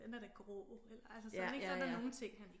Den er da grå eller altså sådan ik så der nogle ting han ikke